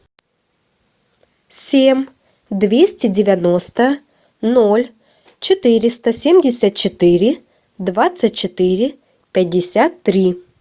семь двести девяносто ноль четыреста семьдесят четыре двадцать четыре пятьдесят три